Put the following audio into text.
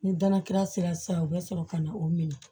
Ni danakura sera san u bɛ sɔrɔ ka na o minɛ